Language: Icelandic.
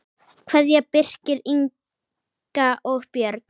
Kveðja, Birkir, Inga og börn.